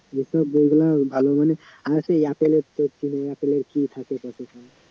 যে সব ওই গুলা ভালো মানের আরেকটা apple এর apple এর কি থাকে